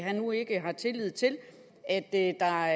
han nu ikke har tillid til at der